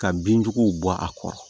Ka bin juguw bɔ a kɔrɔ